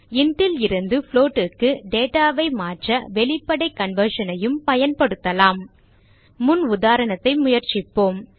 int லிருந்து float க்கு data ஐ மாற்ற வெளிப்படை conversion ஐயும் பயன்படுத்தலாம் முன் உதாரணத்தை முயற்சிப்போம்